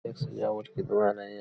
एक सजावट की दुकान है यह --